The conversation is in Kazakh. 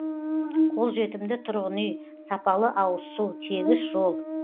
қолжетімді тұрғын үй сапалы ауызсу тегіс жол